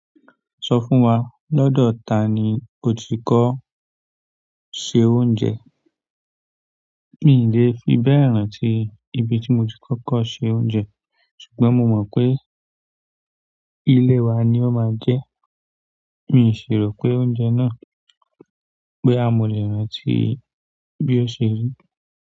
Sọ fún wa, lọ́dọ̀ ta ni o ti kọ́ ṣẹ́ oúnjẹ? Mi ì lè fi bẹ́ẹ̀ rántí i ibi tí mo ti kọ́kọ́ ṣe oúnjẹ, ṣùgbọ́n mo mọ̀ pé ìlé e wa ni ó máa jẹ́. Mi ì ṣì ròpé oúnjẹ náà bóyá mo lè rántí i bí ó ṣe rí.